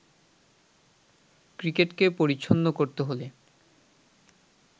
ক্রিকেটকে পরিচ্ছন্ন করতে হলে